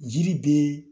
Jiri bɛ